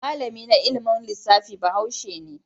Malami na ilimin lissafi Bahaushe ne.